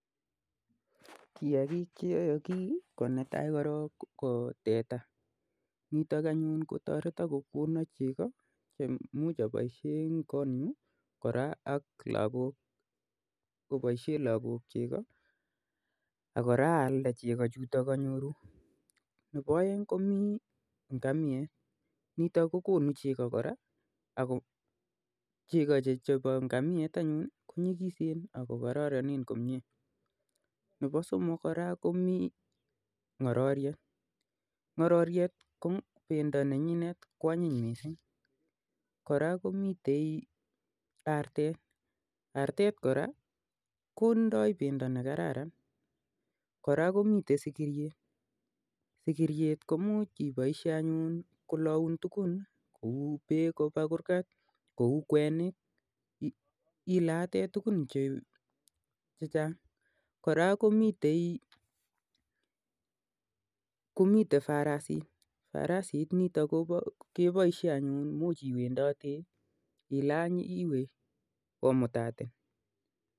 Kiyakik che ayakii ko netaai anyun ko teta nitok kotoreton amuu konoo chego che aboishee eng kurgat ak chee kialdalooi koraa komii negoo sikiroik farasishek ak ngorork